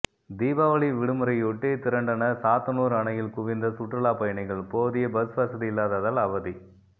தீபாவளி விடுமுறையொட்டி திரண்டனர் சாத்தனூர் அணையில் குவிந்த சுற்றுலா பயணிகள் போதிய பஸ் வசதி இல்லாததால் அவதி